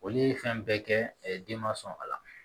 Olu ye fɛn bɛɛ kɛ den ma sɔn a la